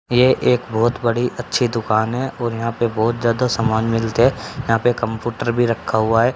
ये एक बहोत बड़ी अच्छी दुकान है और यहां पे बहोत ज्यादा सामान मिलते है यहां पे कंपुटर भी रखा हुआ है।